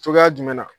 Cogoya jumɛn na